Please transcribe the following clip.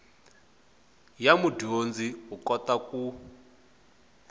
ya mudyondzi u kota ku